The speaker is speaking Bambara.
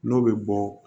N'o bɛ bɔ